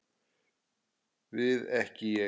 Við ekki Ég.